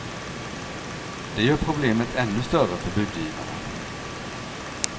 Det gör problemet ännu större för budgivarna.